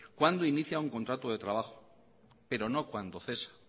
cuándo inicia un contrato de trabajo pero no cuando cesa